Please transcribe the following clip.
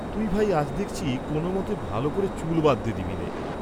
তুই ভাই, আজ দেখছি কোন মতে ভাল করে চুল বাঁধতে দিবিনে।